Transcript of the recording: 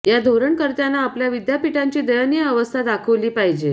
या धोरणकर्त्यांना आपल्या विद्यापीठांची दयनीय अवस्था दाखवली पाहिजे